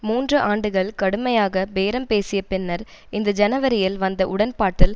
மூன்று ஆண்டுகள் கடுமையாக பேரம் பேசிய பின்னர் இந்த ஜனவரியில் வந்த உடன்பாட்டில்